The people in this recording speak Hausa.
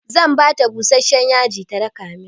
Zan bata busashshen yaji ta daka min.